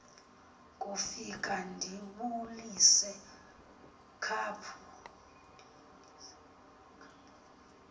ndofika ndibulise khaphu